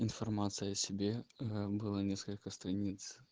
информация о себе было несколько страниц